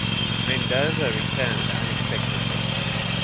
mendoza returned unexpectedly